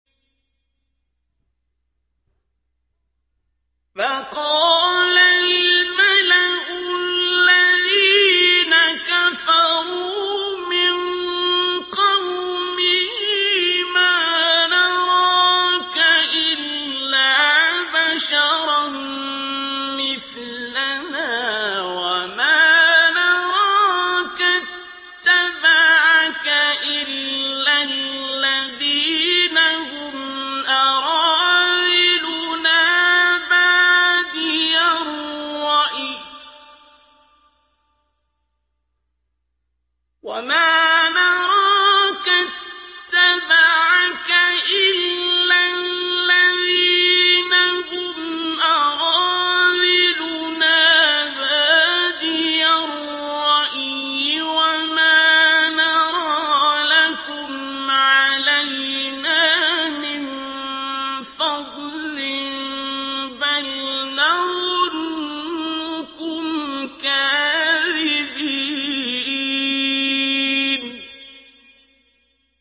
فَقَالَ الْمَلَأُ الَّذِينَ كَفَرُوا مِن قَوْمِهِ مَا نَرَاكَ إِلَّا بَشَرًا مِّثْلَنَا وَمَا نَرَاكَ اتَّبَعَكَ إِلَّا الَّذِينَ هُمْ أَرَاذِلُنَا بَادِيَ الرَّأْيِ وَمَا نَرَىٰ لَكُمْ عَلَيْنَا مِن فَضْلٍ بَلْ نَظُنُّكُمْ كَاذِبِينَ